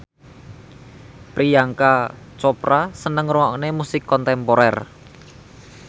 Priyanka Chopra seneng ngrungokne musik kontemporer